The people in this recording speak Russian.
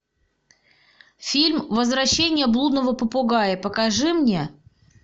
фильм возвращение блудного попугая покажи мне